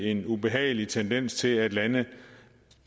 en ubehagelig tendens til at lande